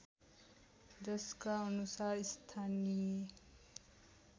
जसका अनुसार स्थानीय